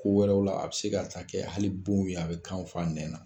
Ko wɛrɛw la, a be se ka taa kɛ hali bonw ye a be kan fa nɛn na.